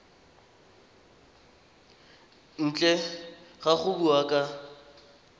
ntle ga go bua ka